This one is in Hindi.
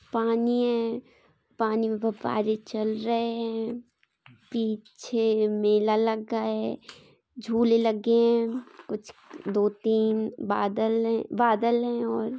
पानी ये पानी मे फुब्बारे चल रहे है पीछे मेला लगा है झूले लगे है कुछ दो तीन बादल बादल है और--